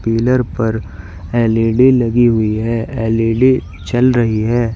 Pillar पर L E D लगी हुई है। एल_ई_डी चल रही है।